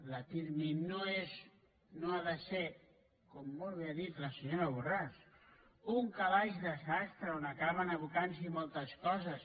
la pirmi no és no ha de ser com molt bé ha dit la senyora borràs un calaix de sastre on acaben abocant se moltes coses